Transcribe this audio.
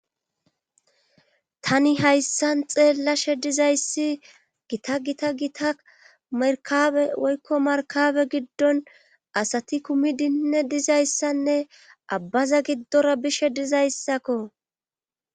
Tani hayssan xeellashe dizayssi gita gita gita merkabe woykko markabe giddon asati kumi dinne dizayssanne abbaza giddora bishe dizayssakko